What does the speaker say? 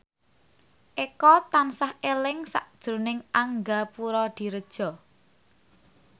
Eko tansah eling sakjroning Angga Puradiredja